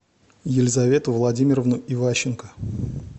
елизавету владимировну иващенко